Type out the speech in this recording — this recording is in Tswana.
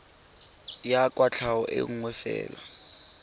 ya kwatlhao e nngwe fela